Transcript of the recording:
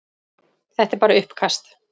Þetta er bara uppkast.